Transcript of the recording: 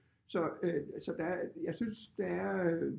Så øh så der er jeg synes der er øh